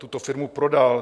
tuto firmu prodal.